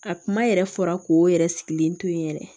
A kuma yɛrɛ fɔra k'o yɛrɛ sigilen to yen yɛrɛ